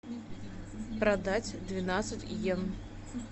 продать двенадцать йен